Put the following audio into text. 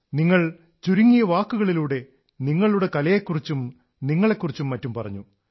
നിങ്ങൾ ചുരുങ്ങിയ വാക്കുകളിലൂടെ നിങ്ങളുടെ കലയെക്കുറിച്ചും നിങ്ങളെക്കുറിച്ചും മറ്റും പറഞ്ഞു